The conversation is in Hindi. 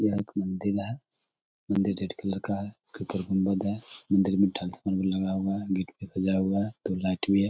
यहाँ एक मंदिर है। मंदिर रेड कलर का हैइसके ऊपर गुंबद है। मंदिर मै लगा हुआ है गेट भी सजा हुआ है दो लाइट भी है।